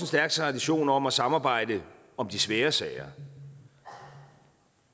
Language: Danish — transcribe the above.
stærk tradition om at samarbejde om de svære sager